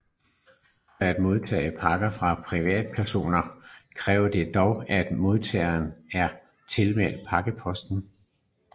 For at modtage pakke fra privatpersoner kræver det dog at modtageren er tilmeldt Pakkeboksen